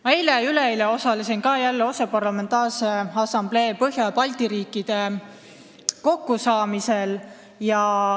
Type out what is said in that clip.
Ma osalesin eile ja üleeile OSCE Parlamentaarse Assamblee Põhja- ja Baltimaade kokkusaamisel.